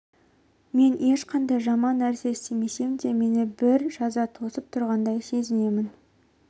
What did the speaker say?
мен ешқандай жаман нәрсе істемесем де мені бір жаза тосып тұрғандай сезінемін